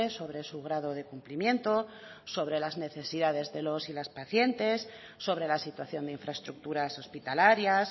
sobre su grado de cumplimiento sobre las necesidades de los y las pacientes sobre la situación de infraestructuras hospitalarias